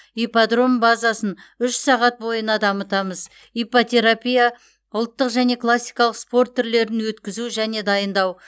ипподром базасын үш сағат бойына дамытамыз иппотерапия ұлттық және классикалық спорт түрлерін өткізу және дайындау